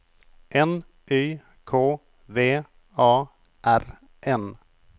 N Y K V A R N